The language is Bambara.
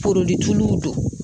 don.